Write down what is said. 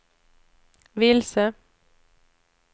vilse